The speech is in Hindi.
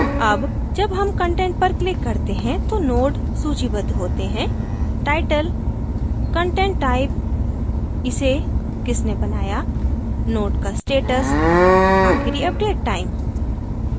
अब जब हम content पर click करते हैं तो node सूचीबद्ध होते हैं title content type इसे किसने बनाया node का status आखिरी update time